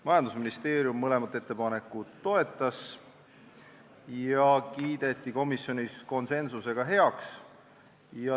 Majandusministeerium toetas mõlemat ettepanekut ja need kiideti komisjonis konsensuslikult heaks.